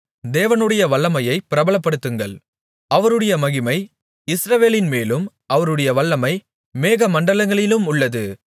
தேவனுடைய வல்லமையைப் பிரபலப்படுத்துங்கள் அவருடைய மகிமை இஸ்ரவேலின்மேலும் அவருடைய வல்லமை மேகமண்டலங்களிலும் உள்ளது